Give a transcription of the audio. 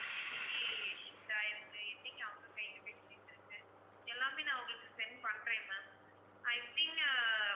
என்னைக்கு shipped ஆயிருக்கு, என்னைக்கு அவங்க கைக்கு போய் சேர்ந்திருக்கு எல்லாமே நான் வந்து உங்களுக்கு send பண்றேன் ma'am, i think ஆஹ்